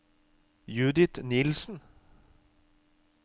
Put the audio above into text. Judith Nielsen